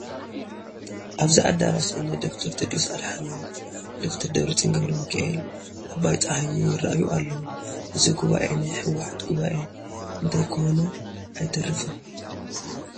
ኣብዚ ኣዳራሽ እኒ ዶክተር ቴድሮስ ኣድሓኖም፣ ዶክተር ደብረፅዮን ገ/ሚካኤል፣ ኣባይ ፀሃየ ይርአዩ ኣለዉ፡፡ እዚ ጉባኤ ናይ ሕወሓት ጉባኤ እንተይኮነ ኣይተርፍን፡፡